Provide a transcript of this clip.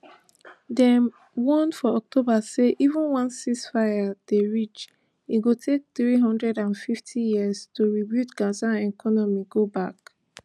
dem warn for october say even once cease fire dey reach e go take three hundred and fifty years to rebuild gaza economy go back